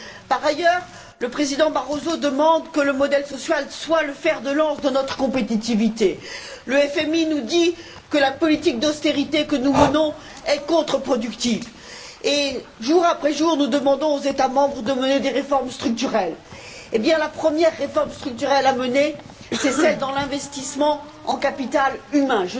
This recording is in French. Par ailleurs, le président Barroso demande que le modèle social soit le fer de lance de notre compétitivité. Le FMI nous dit que la politique d'austérité que nous menons est contreproductive. Jour après jour, nous demandons aux États membres de mener des réformes structurelles. La première réforme structurelle à mener, c'est celle de l'investissement en capital humain.